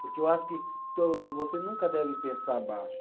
Porque eu acho que você nunca deve pensar baixo.